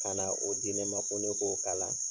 Kana o di ne ma ko ne k'o kala